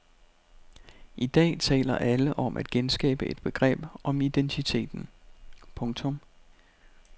I dag taler alle om at genskabe et begreb om identiteten. punktum